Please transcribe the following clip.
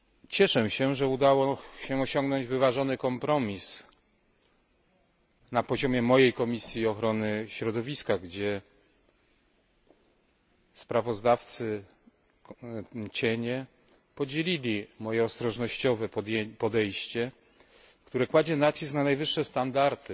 Cieszę się, że udało się osiągnąć wyważony kompromis na poziomie mojej Komisji Ochrony Środowiska, gdzie sprawozdawcy cienie podzielili moje ostrożnościowe podejście, które kładzie nacisk na najwyższe standardy